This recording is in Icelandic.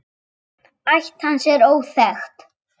Ætt hans er óþekkt.